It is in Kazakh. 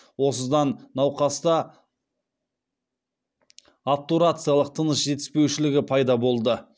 осыдан науқаста обтурациялық тыныс жетіспеушілігі пайда болды